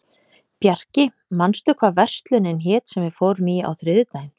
Bjarki, manstu hvað verslunin hét sem við fórum í á þriðjudaginn?